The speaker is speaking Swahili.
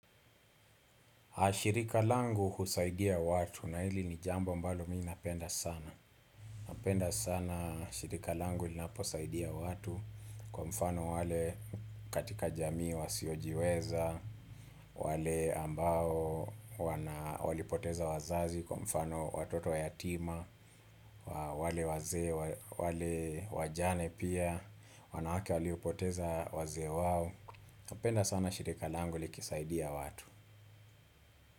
Shirika langu husaidia watu na hili ni jambo ambalo mi napenda sana. Napenda sana shirika langu linaposaidia watu kwa mfano wale katika jamii wasiojiweza, wale ambao walipoteza wazazi kwa mfano watoto wayatima, wale waze, wale wajane pia, wanawake waliopoteza wazee wao. Napenda sana shirika langu likisaidia watu.